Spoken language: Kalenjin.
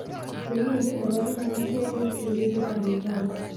Silingit ne po kenya konee eng' silingitap uganda